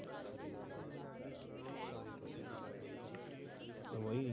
ਤੋਂ ਭਾਈ।